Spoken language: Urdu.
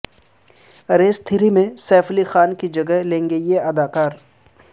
ریس تھری میں سیف علی خان کی جگہ لیں گے یہ اداکار